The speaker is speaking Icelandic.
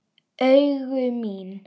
Augu mín.